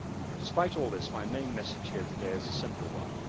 But despite all this, my main message here today is a simple one.